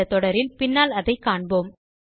இந்த தொடரில் பின்னால் அதை காண்போம்